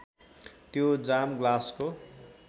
त्यो जाम ग्लासको